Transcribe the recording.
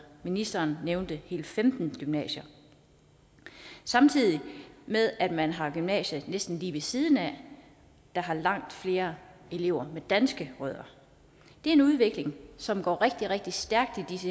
ministeren nævnte hele femten gymnasier samtidig med at man har gymnasier næsten lige ved siden af der har langt flere elever med danske rødder det er en udvikling som går rigtig rigtig stærkt i disse